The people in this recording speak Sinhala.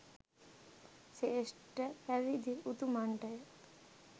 ශ්‍රේෂ්ඨ පැවිදි උතුමන්ටය.